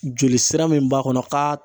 Joli sira min b'a kɔnɔ ka